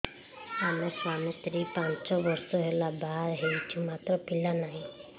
ଆମେ ସ୍ୱାମୀ ସ୍ତ୍ରୀ ପାଞ୍ଚ ବର୍ଷ ହେଲା ବାହା ହେଇଛୁ ମାତ୍ର ପିଲା ନାହିଁ